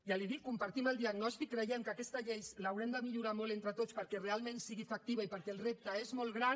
ja li ho dic compartim el diagnòstic creiem que aquesta llei l’haurem de millorar molt entre tots perquè realment sigui efectiva i perquè el repte és molt gran